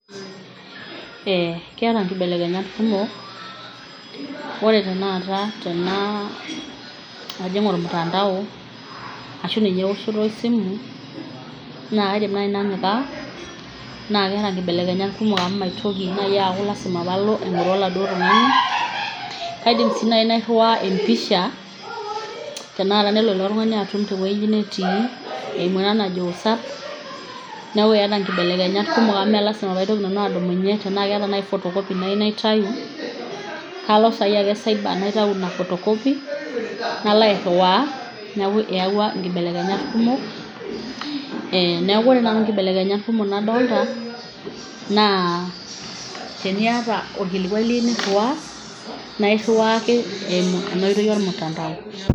Eee keeta nkibelekenyat kumok ore tenakata tenaa ajing' ormutandao ashu ninye ewoshoto esimu naa kaidim nai nanyikaa naa keeta nkibelekenyat kumok amu maitoki nai aaku lazima paalo aing'oru oladuo tung'ani. Kaidim sii nai nairiwaa pisha tenakata nelo likai tung'ani atum te woji natii eimu ena najo whatsapp. Neeku eeta nkibelekenyat kumok amu mee lazima paitoki nanu adumunye tenaa ake eeta nai photocopy nayiu naitayu kalo saa hii ake cyber naitau ina photocopy, nalo airiwaa, neku eyauwa nkibelekenyat kumok. Neeku ore naa amu nkibelekenyat kumok nadolta naa teniata orkilikuai liyeu niriwaa nae iriwaa ake eimu ena oitoi or mutandao.